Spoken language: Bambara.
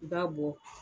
I b'a bɔ